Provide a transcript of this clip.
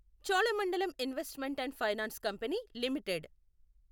Cholamandalam investment and finance company ఎలిమిటెడ్